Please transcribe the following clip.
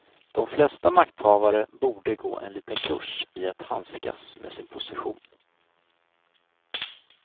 De flesta makthavare borde gå en liten kurs i att handskas med sin position.